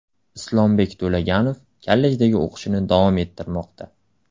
Islombek To‘laganov kollejdagi o‘qishini davom ettirmoqda.